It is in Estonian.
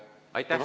Aitäh!